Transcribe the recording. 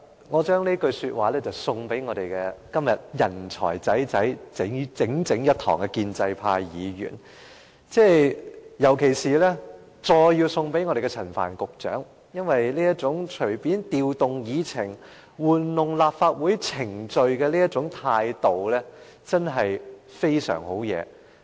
我將這句說話送給今天共聚一堂的建制派議員，尤其是要送給陳帆局長，因為這種隨便調動議程、玩弄立法會程序的態度，真是很厲害。